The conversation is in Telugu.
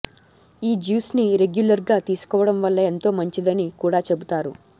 ఈ జ్యూస్ని రెగ్యులర్గా తీసుకోవడం వల్ల ఎంతో మంచిదని కూడా చెబుతారు